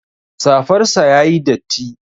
Safar sa yayi datti